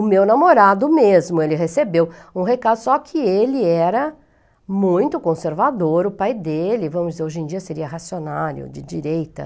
O meu namorado mesmo, ele recebeu um recado, só que ele era muito conservador, o pai dele, vamos dizer, hoje em dia seria racionário, de direita.